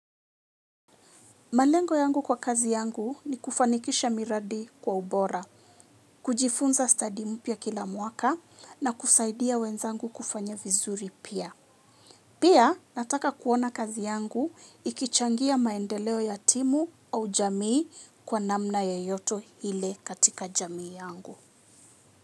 Malengo yangu kwa kazi yangu, nikufanikisha miradi kwa ubora, kujifunza stadi mpya kila mwaka, na kusaidia wenzangu kufanya vizuri pia. Pia nataka kuona kazi yangu, ikichangia maendeleo ya timu au jamii kwa namna yoyote ile katika jamii yangu.